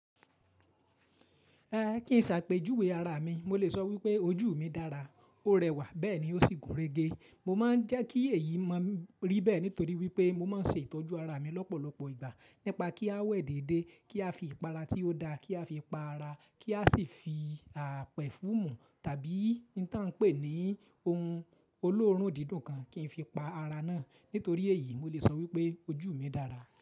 Rárá, kí n ṣàpèjúwe ara mi, mo lè sọ wípé ojú mi dára, ó rẹwà bẹ́ẹ̀ ni ó sì gúnrégé. Mo máa ń jẹ́ kí èyí máa rí bẹ́ẹ̀ nítorí wípé mo máa ń ṣe ìtọ́jú ara mi lọ́pọ̀lọpọ̀ ìgbà. Nípa kí a wẹ̀ déédé, kí a fi ìpara tí ó da, kí a fi pa ara, kí a sì fi pẹfúmù tàbí n tán pè ní ohun olóòórùn dídùn kan kí n fi pa ara náà. Nítorí èyí, mo lè sọ wípé ojú mi dára.